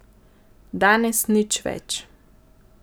Danes nič več.